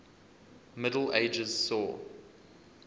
middle ages saw